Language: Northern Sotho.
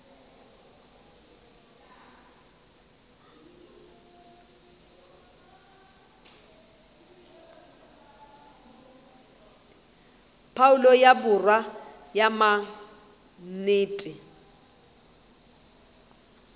phoulo ya borwa ya maknete